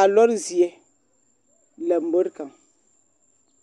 a zie lambori kaŋ